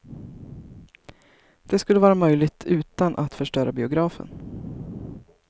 Det skulle vara möjligt utan att förstöra biografen.